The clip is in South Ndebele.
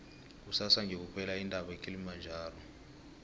kusasa ngiyokukhwela intaba ekilimajaro